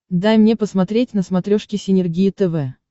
дай мне посмотреть на смотрешке синергия тв